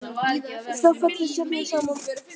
Við það fellur stjarnan saman.